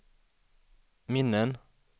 minnen